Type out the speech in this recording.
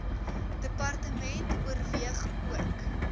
department oorweeg ook